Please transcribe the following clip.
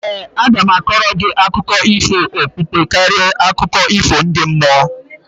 ee, aga m a kọọrọ gị akụkọ ifo okpukpe karịa akụkọ ifo ndi mmụọ